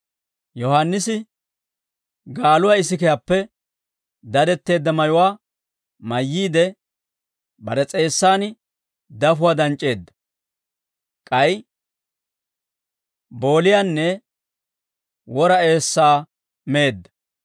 Yohaannisi gaaluwaa isikiyaappe dadetteedda mayuwaa mayyiide, bare s'eessan dafuwaa danc'c'eedda; k'ay booliyaanne wora eessaa meedda.